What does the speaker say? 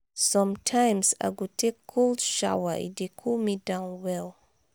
sometimes i go take cold shower e dey cool me down well.